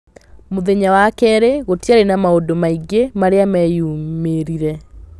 Mũthenya wa kerĩ gũtiarĩ na maũndũ maingĩ marĩa meyumĩrire